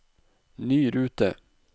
ny rute